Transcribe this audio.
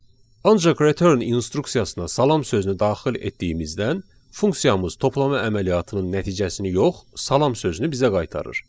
Ancaq return instruksiyasına salam sözünü daxil etdiyimizdən funksiyamız toplama əməliyyatının nəticəsini yox, salam sözünü bizə qaytarır.